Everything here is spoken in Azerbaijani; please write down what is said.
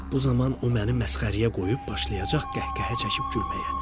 Bu zaman o məni məsxərəyə qoyub başlayacaq qəhqəhə çəkib gülməyə.